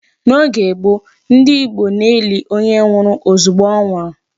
N'oge gboo, ndị Igbo na-eli onye nwụrụ ozugbo ọ nwụrụ.